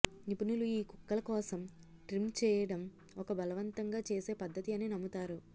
నిపుణులు ఈ కుక్కల కోసం ట్రిమ్ చేయడం ఒక బలవంతంగా చేసే పద్ధతి అని నమ్ముతారు